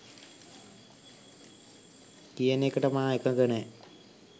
කියන එකට මා එකඟ නෑ